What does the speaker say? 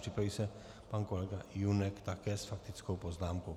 Připraví se pan kolega Junek, také s faktickou poznámkou.